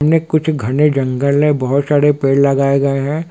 इनमे खुच घने जंगल है बहुत सारे पेड़ लगाये गये है।